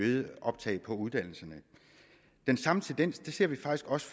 øgede optag på uddannelserne den samme tendens ser vi faktisk også